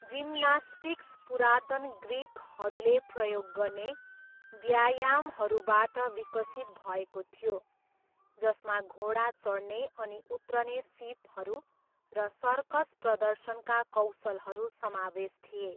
Gymnastics पुरातन ग्रिकहरूले प्रयोग गर्ने व्यायामहरूबाट विकसित भएको थियो, जसमा घोडा चढ्ने अनि उत्रने सिपहरू र सर्कस प्रदर्शनका कौशलहरू समावेश थिए।